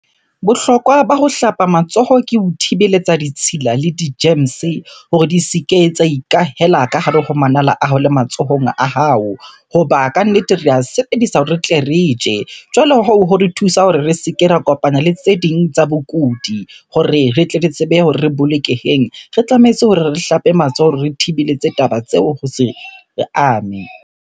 Bohlokwa ba ho hlapa matsoho ke ho thibeletsa ditshila le di-germs hore di se ke tsa ikahela ka hare ho manala a hao le matsohong a hao. Hoba kannete re a sebedisa hore re tle re tje. Jwale hoo, ho re thusa hore re se ke ra kopana le tse ding tsa bokudi. Hore re tle re tsebe hore re bolokeheng, re tlametse hore re hlape matsoho, re thibeletse taba tseo ho se re ame.